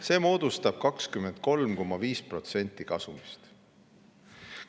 See moodustab 23,5% kasumist.